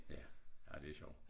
Ja ej det sjovt